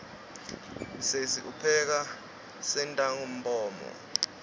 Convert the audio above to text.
sesi upheka sentangabomu